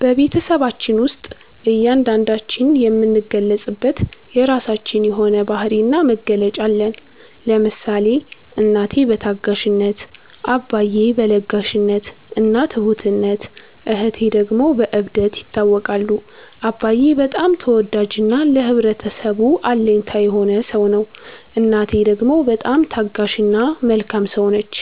በቤትሰባችን ውስጥ እያንዳንዳችን የምንገለፅበት የራችን የሆነ ባህሪ እና መገለጫ አለን። ለምሳሌ እናቴ በታጋሽነት፣ አባዬ በ ለጋሽነት እና ትሁትነት እህቴ ደግሞ በ እብደት ይታወቃሉ። አባዬ በጣም ተወዳጅ እና ለህብረተሰቡ አለኝታ የሆነ ሰው ነው። እናቴ ደግሞ በጣም ታጋሽ እና መልካም ሰው ነች።